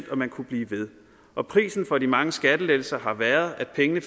og man kunne blive ved prisen for de mange skattelettelser har været at pengene